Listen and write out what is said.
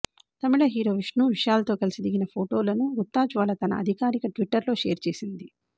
తమిళ hero Vishnu విశాల్తో కలిసి దిగిన ఫోటోలను గుత్తా జ్వాల తన అధికారిక ట్విటర్లో షేర్ చేసింది